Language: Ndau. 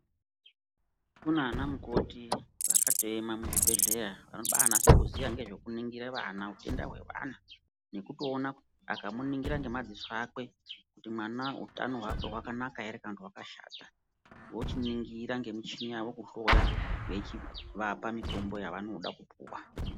Kunana mukoti vakatoema muzvibhedhleya vanobanasa kuziya ngezvekuningire vana utenda hwevana nekutoona akamuningira ngemadziso akwe kuti mwana utano hwake hwakanaka ere kana kuti hwakashata vochiningira ngemuchini yavo kuhloya veichivapa mitombo yavanoda kupuwa.